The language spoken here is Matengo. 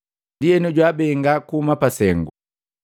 Ndienu, jwaabenga kuhuma pasengu.